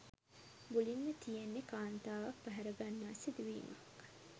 මුලින්ම තියෙන්නෙ කාන්තාවක් පැහරගන්නා සිදුවීමක්.